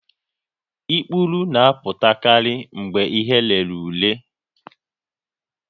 Ikpuru na-apụtakarị mgbe ihe rere ure